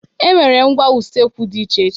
E nwere ngwá usekwu dị iche iche.